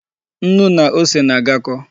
Nnu na ose na-agakọ.